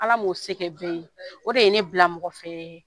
Ala m'o se kɛ bɛɛ ye o de ye ne bila mɔgɔfɛ